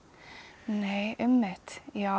nei einmitt já